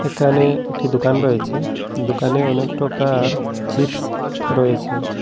এখানে একটি দোকান রয়েছে দোকানে অনেক প্রকার চিপস রয়েছে।